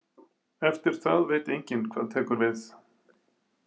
Eftir það veit enginn hvað tekur við.